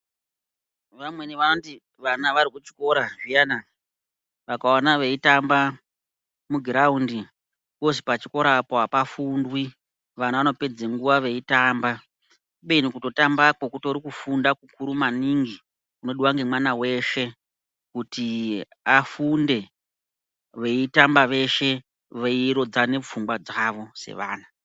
Vamweni vanoti vana varikuchikora zviyani vakaona veitamba mugiraundi pozi pachikora apo apafundwi vana vanopedze nguwa veitamba kubeni kutotambako kutori kufunda kukuru maningi kunodiwa ngemwana weshe kuti afunde veitamba veshe veirodzane pfungwa dzavo sevana.